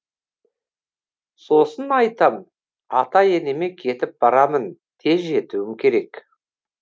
сосын айтам ата енеме кетіп барамын тез жетуім керек